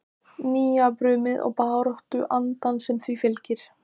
Nýjabrumið og baráttuandann sem því fylgir?